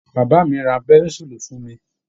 Bàbá mi ra pẹ́ńsúùlù fún mi